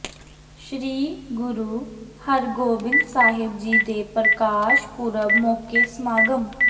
ਸ੍ਰੀ ਗੁਰੂ ਹਰਿਗੋਬਿੰਦ ਸਾਹਿਬ ਜੀ ਦੇ ਪ੍ਰਕਾਸ਼ ਪੁਰਬ ਮੌਕੇ ਸਮਾਗਮ